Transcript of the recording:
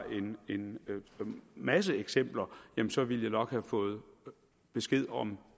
en masse eksempler så ville jeg nok have fået besked om